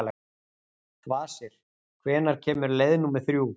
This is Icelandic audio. Kvasir, hvenær kemur leið númer þrjú?